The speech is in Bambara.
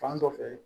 Fan dɔ fɛ